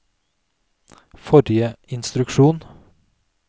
forrige instruksjon